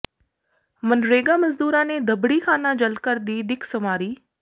ਮਨਰੇਗਾ ਮਜ਼ਦੂਰਾਂ ਨੇ ਦਬੜ੍ਹੀਖਾਨਾ ਜਲ ਘਰ ਦੀ ਦਿੱਖ ਸੰਵਾਰੀ